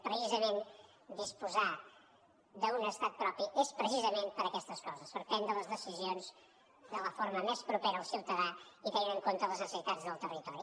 precisament disposar d’un estat propi és per a aquestes coses per prendre les decisions de la forma més propera al ciutadà i tenint en compte les necessitats del territori